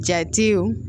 Jatew